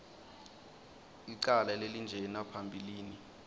licala lelinjena phambilini